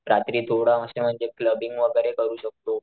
रात्री थोडं असं म्हणजे क्लबिंग वैगेरे करू शकतो.